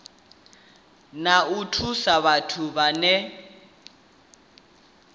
na u thusa vhathu vhane